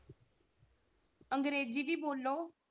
ਅੰਗਰੇਜ਼ੀ ਵੀ ਬੋਲੋ,